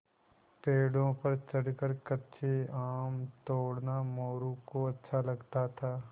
पेड़ों पर चढ़कर कच्चे आम तोड़ना मोरू को अच्छा लगता था